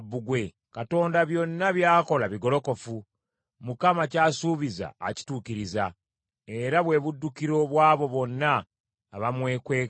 Katonda byonna by’akola bigolokofu; Mukama ky’asuubiza akituukiriza; era bwe buddukiro bw’abo bonna abamwekwekamu.